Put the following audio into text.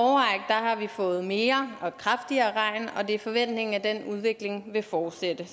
har vi fået mere og kraftigere regn og det er forventningen at den udvikling vil fortsætte